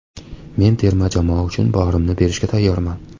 Men terma jamoa uchun borimni berishga tayyorman.